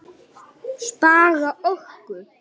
Spara orku.